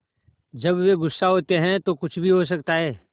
जब वे गुस्सा होते हैं तो कुछ भी हो सकता है